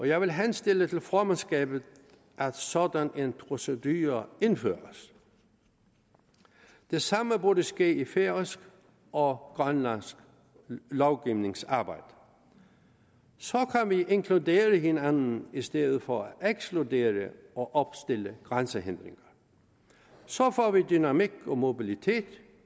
jeg vil henstille til formandskabet at sådan en procedure indføres det samme burde ske i færøsk og grønlandsk lovgivningsarbejde så kan vi inkludere hinanden i stedet for at ekskludere og opstille grænsehindringer så får vi dynamik og mobilitet